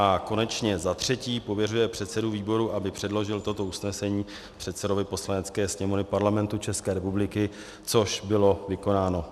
A konečně za třetí pověřuje předsedu výboru, aby předložil toto usnesení předsedovi Poslanecké sněmovny Parlamentu České republiky, což bylo vykonáno.